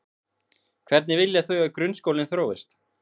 Hvernig vilja þau að grunnskólinn þróist?